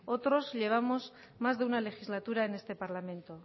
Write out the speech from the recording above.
otros llevamos más de una legislatura en este parlamento